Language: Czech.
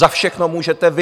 Za všechno můžete vy.